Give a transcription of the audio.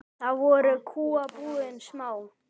Þá voru kúabúin smá.